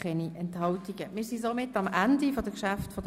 Die Beratung der Geschäfte der BVE ist somit beendet.